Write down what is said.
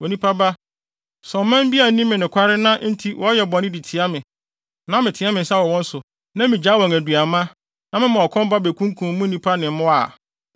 “Onipa ba, sɛ ɔman bi anni me nokware na enti wɔyɛ bɔne de tia me, na meteɛ me nsa wɔ wɔn so na migyae wɔn aduanma, na mema ɔkɔm ba bekunkum mu nnipa ne wɔn mmoa a,